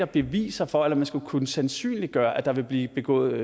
beviser for eller man skal kunne sandsynliggøre at der vil blive begået